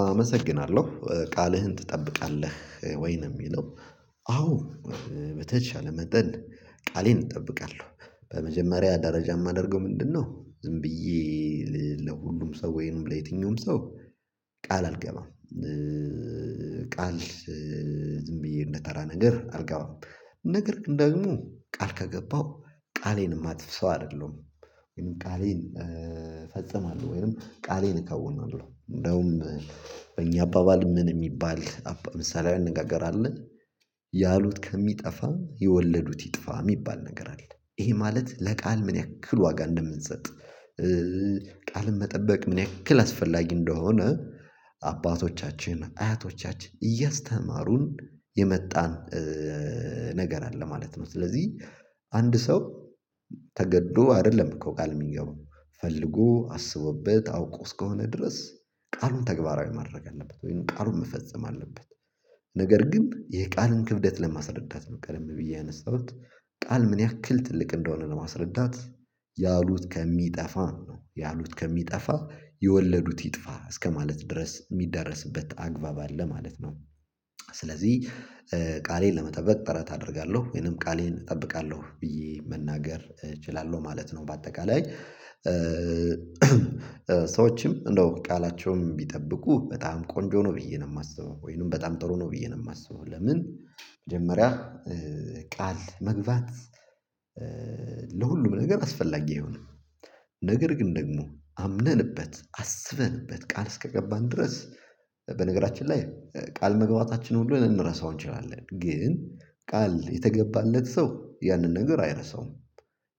አመሰግናለሁ ቃልህን ትጠብቃለህ ወይ ነው የሚለው? አዎ በተቻለ መጠን ቃሌን እጠብቃለሁ። በመጀመሪያ ደረጃ የማደርገው ምንድነው? ዝም ብዬ ለሁሉም ሰው ወይንም ለየትኛውም ሰው ቃል አልገባም። ቃል ዝም ብዬ እንደተራ ነገር አልገባም። ነገር ደግሞ ቃል ከገባው ቃሌን የማጥፍ ሰው አይደለሁም። ወይም ቃሌን ፈጽማለሁ ወይም ቃሌን እከውናለሁ እንደውም በእኛ አባባል ምን የሚባል ምሳሌ አነጋገር አለ። ያሉት ከሚጠፋ የወለዱት ይጥፋ የሚባል ነገር አለ ይሄ ማለት ለቃል ምን ያክል ዋጋ እንደምንሰጥ። ቃልን መጠበቅ ምን ያክል አስፈላጊ እንደሆነ አባቶቻችን አያቶቻችን እያስተማሩን የመጣን ነገር አለ ማለት ነው። ስለዚህ አንድ ሰው ተገዶ አይደለም እኮ ቃል የሚገባው ፈልጎ አስቦበት አውቆ እስከሆነ ድረስ ቃሉን ተግባራዊ ማድረግ አለበት ወይም ቃሉን መፈጸም አለበት። ነገር ግን የቃልን ክብደት ለማስረዳት ነው። ቀደም ብዬ ያነሳሁት ቃል ምን ያክል ትልቅ እንደሆነ ለማስረዳት። ያሉት ከሚጠፋ ነው ያሉት ከሚጠፋ የወለዱት ይጥፋ እስከማለት ድረስ የሚደረስበት አግባብ አለ ማለት ነው። ስለዚህ ቃሌን ለመጠበቅ ጥረት አደርጋለሁ ወይንም ቃሌን እጠብቃለሁ ብዬ መናገር እችላለሁ ማለት ነው። በአጠቃላይ ሰዎችም እንደው ቃላቸውም ቢጠብቁ በጣም ቆንጆ ነው ብዬ ነው የማስበው ወይንም በጣም ጥሩ ነው ብዬ ነው የማስበው። ለምን መጀመሪያ ቃል መግባት ለሁሉም ነገር አስፈላጊ አይሆንም። ነገር ግን ደግሞ አምነንበት አስበንበት ቃል እስከገባን ድረስ በነገራችን ላይ ቃል መግባታችን ሁሉ ልንረሳው እንችላለን ግን ቃል የተገባለት ሰው ያንን ነገር አይረሳውም።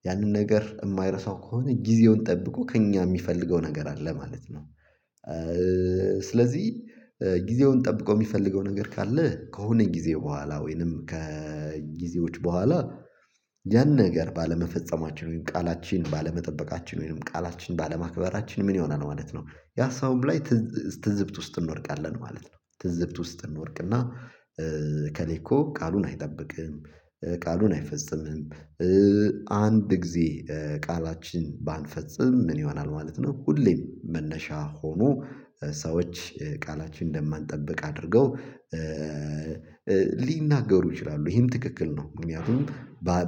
ያንን ነገር የማይረሳው ከሆነ ጊዜውን ጠብቆ ከእኛ የሚፈልገው ነገር አለ ማለት ነው። ስለዚህ ጊዜውን ጠብቆ የሚፈልገው ነገር ካለ ከሆነ ጊዜ በኋላ ወይንም ከጊዜዎች በኋላ ያን ነገር ባለመፈጸማችን ወይም ቃላችን ባለመጠበቃችን ወይም ቃላችን ባለማክበራችን ምን ይሆናል ማለት ነው? ያ ሰውም ላይ ትዝብት ውስጥ እንወድቃለን ማለት ነው። ትዝብት ውስጥ እንወድቅና እካሌ እኮ ቃሉን አይጠብቅም ቃሉን አይፈጽምም። አንድ ጊዜ ቃላችን ባንፈጽም ምን ይሆናል ማለት ነው? ሁሌም መነሻ ሆኖ ሰዎች ቃላችን እንደማንጠብቅ አድርገው ሊናገሩ ይችላሉ ይሄም ትክክል ነው። ምክንያቱም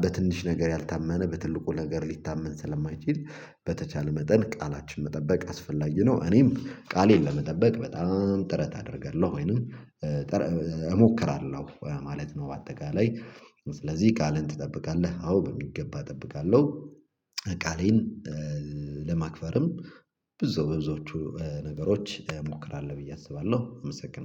በትንሽ ነገር ያልታመነ በትልቁ ነገር ሊታመን ስለማይችል በተቻለ መጠን ቃላችን መጠበቅ አስፈላጊ ነው። እኔም ቃሌን ለመጠበቅ በጣም ጥረት አደርጋለሁ ወይንም እሞክራለሁ ማለት ነው። በአጠቃላይ ስለዚህ ቃልን ትጠብቃለህ አዎ በሚገባ እጠብቃለሁ። ቃሌን ለማክበርም ብዙ በብዙዎቹ ነገሮች እሞክራለሁ ብዬ አስባለሁ አመሰግናለሁ